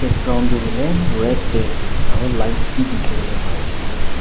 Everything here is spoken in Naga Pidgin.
ground tu hoilae red tae ase aro lines bi dikhiwolae paiase.